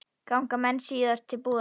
Ganga menn síðan til búða.